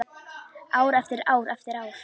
Ár eftir ár eftir ár.